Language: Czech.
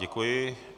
Děkuji.